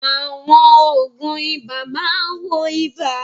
Àwọn òògùn ibà máa ń wo ibà.